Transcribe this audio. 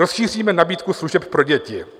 "Rozšíříme nabídku služeb pro děti."